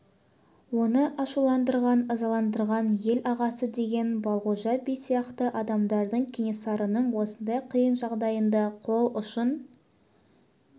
оны ашуландырған ызаландырған ел ағасы деген балғожа би сияқты адамдардың кенесарының осындай қиын жағдайында қол ұшын